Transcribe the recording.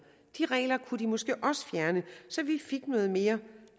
de regler kunne de måske også fjerne så vi fik noget mere